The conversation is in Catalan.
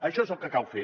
això és el que cal fer